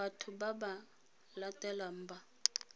batho ba ba latelang ba